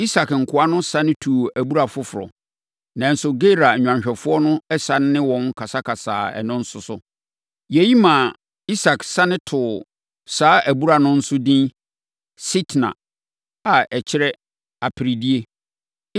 Isak nkoa no sane tuu abura foforɔ, nanso Gerar nnwanhwɛfoɔ no sane ne wɔn kasakasaa ɛno nso so. Yei maa Isak sane too saa abura no nso edin Sitna, a aseɛ kyerɛ Aperedie.